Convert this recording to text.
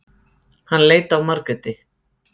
Hann leit á Margréti.